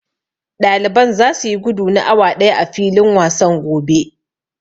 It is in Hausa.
Ɗaliban zasu yi gudu na awa ɗaya a filin wasan gobe.